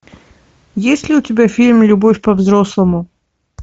есть ли у тебя фильм любовь по взрослому